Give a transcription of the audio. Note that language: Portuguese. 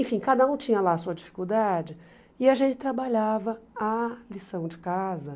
Enfim, cada um tinha lá a sua dificuldade e a gente trabalhava a lição de casa.